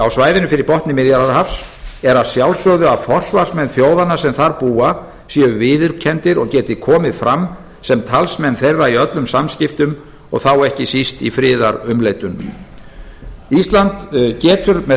á svæðinu fyrir botni miðjarðarhafs er að sjálfsögðu að forsvarsmenn þjóðanna sem þar búa séu viðurkenndir og geti komið fram sem talsmenn þeirra í öllum samskiptum og þá ekki síst í friðarumleitunum ísland getur með